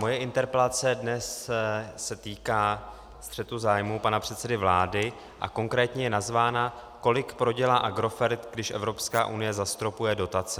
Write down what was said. Moje interpelace dnes se týká střetu zájmů pana předsedy vlády a konkrétně je nazvána Kolik prodělá Agrofert, když Evropská unie zastropuje dotace.